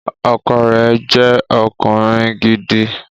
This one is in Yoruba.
Ọkọ rẹ̀ jẹ́ ọkùnrin gidi